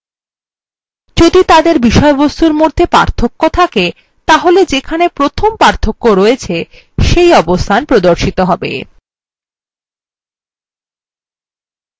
যদি তাদের বিষয়বস্তুর মধ্যে পার্থক্য থাকে তাহলে যেখানে প্রথম পার্থক্য আছে সেই অবস্থান প্রদর্শিত হবে